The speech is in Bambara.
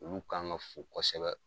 Olu kan ga fo kosɛbɛ